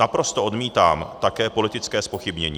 Naprosto odmítám také politické zpochybnění.